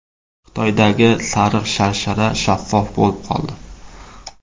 Xitoydagi sariq sharshara shaffof bo‘lib qoldi .